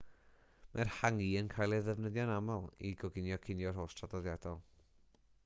mae'r hangi yn cael ei ddefnyddio'n aml i goginio cinio rhost traddodiadol